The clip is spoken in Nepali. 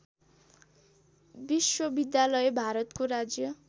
विश्वविद्यालय भारतको राज्य